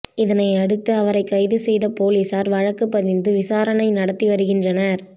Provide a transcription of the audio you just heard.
இதனையடுத்து அவரை கைது செய்த பொலிசார் வழக்குப் பதிந்து விசாரணை நடத்தி வருகின்றனர்